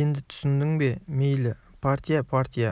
енді түсіндің бе мейлі партия партия